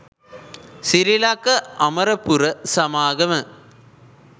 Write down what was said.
සිරිලක අමරපුර සමාගම